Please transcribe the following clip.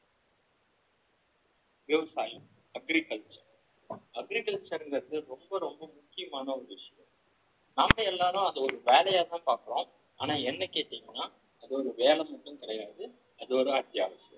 விவசாயம் agriculture agriculture ங்கறது ரொம்ப ரொம்ப முக்கியமான ஒரு விஷயம் நாம எல்லாரும் அத ஒரு வேலையாதான் பார்க்கிறோம் ஆனா என்னை கேட்டீங்கன்னா அது ஒரு வேலை மட்டும் கிடையாது அது ஒரு அத்தியாவசியம்